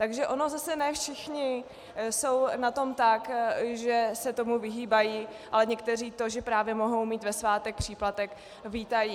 Takže oni zase ne všichni jsou na tom tak, že se tomu vyhýbají, ale někteří to, že právě mohou mít ve svátek příplatek, vítají.